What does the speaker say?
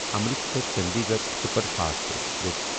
Amritsar Chandigarh superfast express